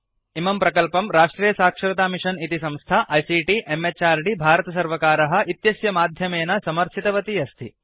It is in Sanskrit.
इमं प्रकल्पं राष्ट्रियसाक्षरतामिषन् इति संस्था आईसीटी म्हृद् भारतसर्वकार इत्यस्य माध्यमेन समर्थितवती अस्ति